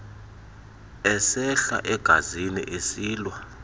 esehla egazini esilwa